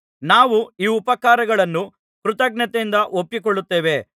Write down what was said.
ನಾವು ಈ ಉಪಕಾರಗಳನ್ನು ಕೃತಜ್ಞತೆಯಿಂದ ಒಪ್ಪಿಕೊಳ್ಳುತ್ತೇವೆ